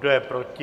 Kdo je proti?